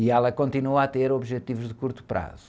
E ela continua a ter objetivos de curto prazo.